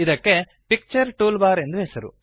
ಇದಕ್ಕೆ picture tool bar ಎಂದು ಹೆಸರು